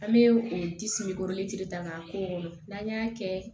An bɛ o disi gosi de ta k'an ko n'an y'a kɛ